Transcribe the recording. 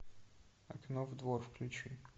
окно во двор включи